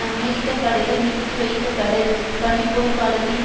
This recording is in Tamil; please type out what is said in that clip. அமெரிக்க படைகள் நிறுத்திவைக்கப்படல் பனிப்போர்க்காலத்தின்